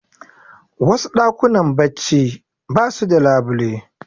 Wasu ɗakunan barci basu da labule